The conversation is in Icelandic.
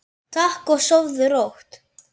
Takk og sofðu rótt.